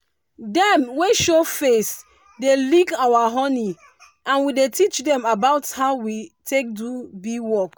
dem wey show face dey lick our honey and we dey teach dem about how we take do bee work